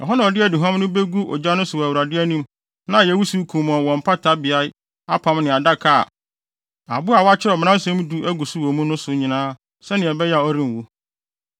Ɛhɔ na ɔde aduhuam no begu ogya no so wɔ Awurade anim na ayɛ wusiw kumɔnn wɔ mpata beae apam ne adaka (a abo apon a wɔakyerɛw Mmaransɛm Du agu so wɔ mu) no so nyinaa sɛnea ɛbɛyɛ a ɔrenwu.